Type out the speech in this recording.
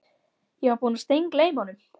Ég var búinn að steingleyma honum